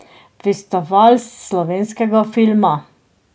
Festival slovenskega filma.